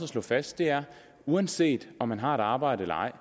slå fast er at uanset om man har et arbejde eller ej